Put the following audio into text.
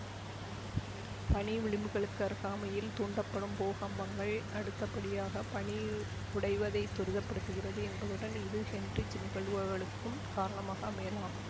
பனி விளிம்புகளுக்கு அருகாமையில் தூண்டப்படும் பூகம்பங்கள் அடுத்தபடியாக பனி உடைவைத் துரிதப்படுத்துகிறது என்பதுடன் இது ஹென்ரிச் நிகழ்வுகளுக்கும் காரணமாக அமையலாம்